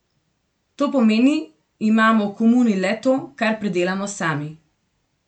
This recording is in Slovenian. To pomeni, imamo v komuni le to, kar pridelamo sami.